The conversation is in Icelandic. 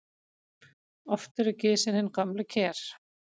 Oft eru gisin hin gömlu ker.